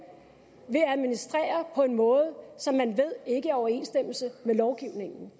vil administrere på en måde som man ved ikke er i overensstemmelse med lovgivningen